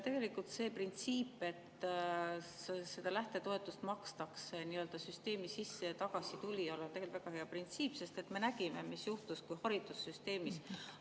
Tegelikult see printsiip, et lähtetoetust makstakse nii-öelda süsteemi sisse ja tagasi tulijale, on väga hea, sest me nägime, mis juhtus haridussüsteemis.